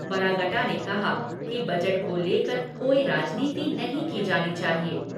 बरागटा ने कहा कि बजट को लेकर कोई राजनीति नही की जानी चाहिए।